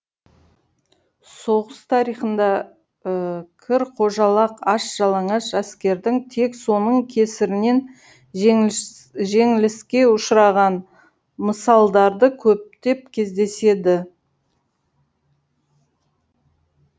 соғыс тарихында кір қожалақ аш жалаңаш әскердің тек соның кесірінен жеңіліске ұшыраған мысалдары көптеп кездеседі